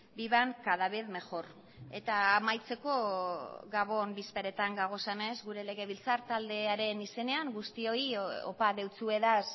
vivan cada vez mejor eta amaitzeko gabon bezperetan gagozenez gure legebiltzar taldearen izenean guztioi opa deutsuedaz